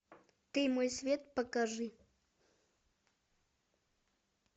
ты мой свет покажи